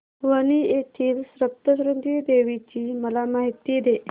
वणी येथील सप्तशृंगी देवी ची मला माहिती दे